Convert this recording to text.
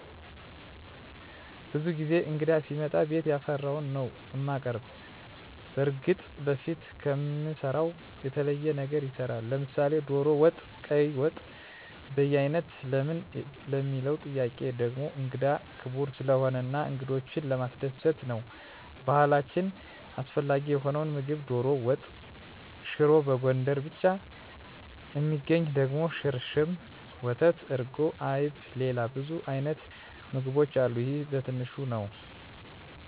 ብዙ ጊዜ እንግዳ ሲመጣ ቤት ያፈራዉን ነዉ እማቀርብ። በርግጥ በፊት ከምንሰራዉ የተለየ ነገር ይሰራል፤ ለምሳሌ ዶሮ ወጥ፣ ቀይ ወጥ፣ በያይነት ለምን ለሚለዉ ጥያቄ ደሞ እንግዳ ክቡር ስለሆነ እና እንግዶችን ለማስደሰት ነዉ። በባህላችን አስፈላጊ የሆነዉ ምግብ ዶሮ ወጥ፣ ሽሮ፣ በጎንደር ብቻ እሚገኝ ደሞ ሽርሽም፣ ወተት፣ እርጎ፣ አይብ፣ ሌላ ብዙ አይነት ምግቦች አሉ ይሄ በትንሹ ነዉ።